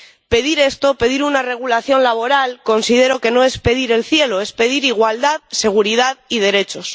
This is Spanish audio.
Pedir esto, pedir una regulación laboral, considero que no es pedir el cielo, es pedir igualdad, seguridad y derechos.